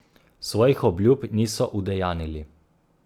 Svojih obljub niso udejanjili.